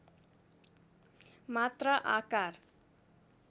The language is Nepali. मात्रा आकार